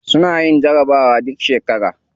Suna yin jarabawa duk shekara.